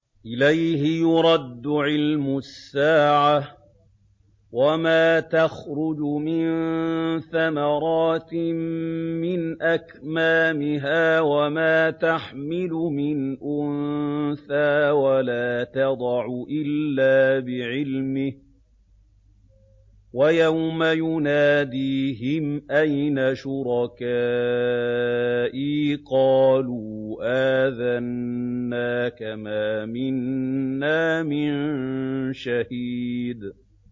۞ إِلَيْهِ يُرَدُّ عِلْمُ السَّاعَةِ ۚ وَمَا تَخْرُجُ مِن ثَمَرَاتٍ مِّنْ أَكْمَامِهَا وَمَا تَحْمِلُ مِنْ أُنثَىٰ وَلَا تَضَعُ إِلَّا بِعِلْمِهِ ۚ وَيَوْمَ يُنَادِيهِمْ أَيْنَ شُرَكَائِي قَالُوا آذَنَّاكَ مَا مِنَّا مِن شَهِيدٍ